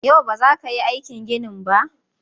Yau ba za ka yi aikin ginin ba?